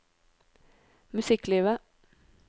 musikklivet